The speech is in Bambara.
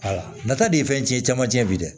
nata de ye fɛn cɛn caman tiɲɛ bi dɛ